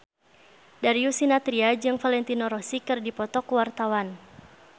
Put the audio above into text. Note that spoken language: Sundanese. Darius Sinathrya jeung Valentino Rossi keur dipoto ku wartawan